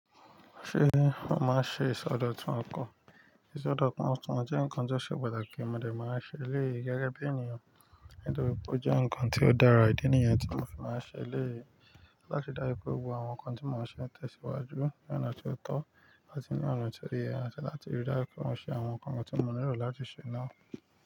Ṣé ó máa ṣe ìṣodọ̀tún ọkọ̀? Ìṣodọ̀tún ọkan jẹ́ nǹkan tó ṣe pàtàkì, mo dè máa ṣe eléyii gẹ́gẹ́ bí ènìyàn nítorí pé ó jẹ́ nnkan tó dára ìdí nìyẹn tí mo fi máa ṣe elèyii láti ri dáju gbogbo àwọn nnkan tí mo n ṣe ń tẹ̀síwájú ní ọ̀nà tí ó tọ́ áti ní ona tó ye, àti láti rí dáju pe mo ṣe àwọn nǹkan tí mo nílò láti ṣe náà.